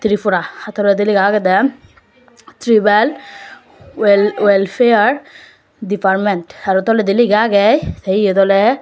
Tripura ha toredi lega aagey de trival wel welfare department aro toledi liga aage eyot oley.